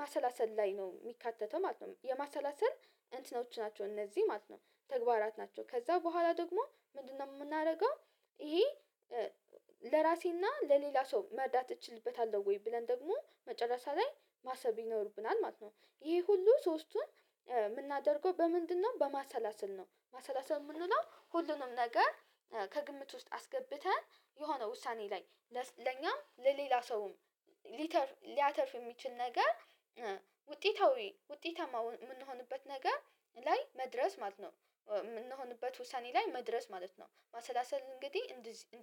ማሰላሰል ላይ ነው የሚካተተው ማለት ነው። የማሰላሰል እንትኖች ናቸው እነዚህ ማለት ነው ተግባራት ናቸው ከዛ በኋላ ደግሞ ምንድነው የምናደርገው? ይሄ ለራሴና ለሌላ ሰው መርዳት እችልበታለሁ ወይ ብለን ደግሞ መጨረሻ ላይ ማሰብ ይኖርብናል ማለት ነው። ይሄ ሁሉ ሶስቱን የምናደርገው በምንድነው በማሰላሰል ነው። ማሰላሰል የምንለው ሁሉንም ነገር ከግምት ውስጥ አስገብተን የሆነ ውሳኔ ላይ ለኛም ለሌላ ሰውም ሊተርፍ ሊያተርፍ የሚችል ነገር ውጤታዊ ውጤታማ የምንሆንበት ነገር ላይ መድረስ ማለት ነው የምንሆንበት ውሳኔ ላይ መድረስ ማለት ነው። ማሰላሰል እንግዲህ እንደዚህ